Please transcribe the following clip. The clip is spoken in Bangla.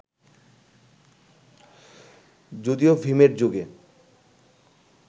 যদিও ভিমের যুগে